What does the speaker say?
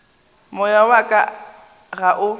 moya wa ka ga o